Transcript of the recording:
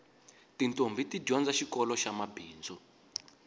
titombhi ti dyondza xikoloxa mabindzu